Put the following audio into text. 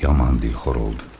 Yaman dilxor oldu.